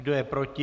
Kdo je proti?